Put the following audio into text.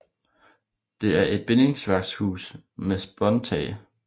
Det er et bindingsværkshus med spåntag